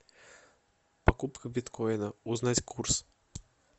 покупка биткоина узнать курс